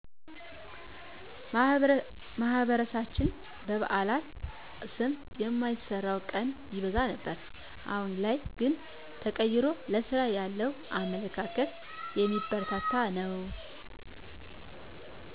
ማህበረሰባችን በበአላት ስም የማይሰራው ቀን ይበዛ ነበር አሁን ላይ ግን ተቀይሮ ለስራ ያለው አመለካከት የሚበረታታ ነው